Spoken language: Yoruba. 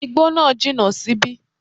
Igbó náà jìnà síbí